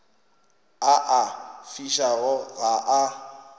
a a fišago ga a